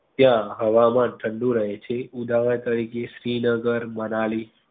ત્યાં હવામાન ઠંડુ રહે છે. ઉદાહરણ તારીખે શ્રીનગર, મનાલી